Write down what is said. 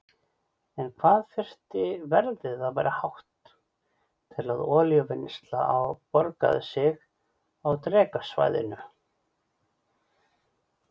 En hvað þyrfti verðið að vera hátt til að olíuvinnsla borgaði sig á Drekasvæðinu?